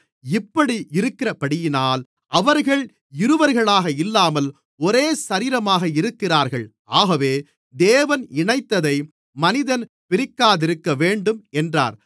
இப்படி இருக்கிறபடியினால் அவர்கள் இருவர்களாக இல்லாமல் ஒரே சரீரமாக இருக்கிறார்கள் ஆகவே தேவன் இணைத்ததை மனிதன் பிரிக்காதிருக்கவேண்டும் என்றார்